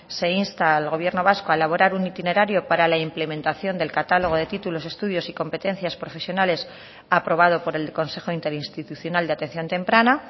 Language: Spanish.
se insta al gobierno vasco a elaborar un itinerario para la implementación del catálogo de títulos estudios y competencias profesionales aprobado por el consejo interinstitucional de atención temprana